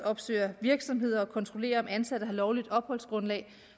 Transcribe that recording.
opsøger virksomheder og kontrollerer om ansatte har lovligt opholdsgrundlag